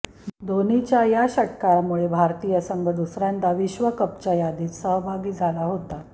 धोनीच्या या षटकारामुळे भारतीय संघ दुसऱ्यांदा विश्वकपच्या यादीत सहभागी झाला होता